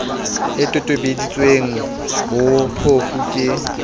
e tobisitsweng ho phofu ke